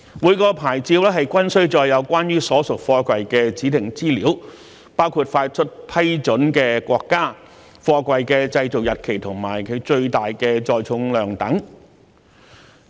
每個牌照均須載有關於所屬貨櫃的指定資料，包括發出批准的國家、貨櫃的製造日期及其最大載重量等。